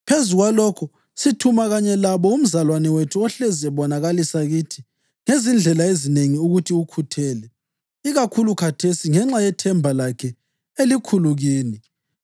Phezu kwalokho, sithuma kanye labo umzalwane wethu ohlezi ebonakalisa kithi ngezindlela ezinengi ukuthi ukhuthele, ikakhulu khathesi ngenxa yethemba lakhe elikhulu kini.